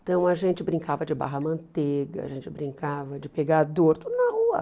Então, a gente brincava de barra-manteiga, a gente brincava de pegador, tudo na rua.